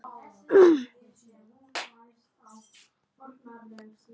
GVENDUR: Gleymið því ekki að fólkið flýr landið þúsundum saman.